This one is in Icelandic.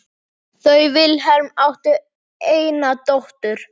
Þau Vilhelm áttu eina dóttur.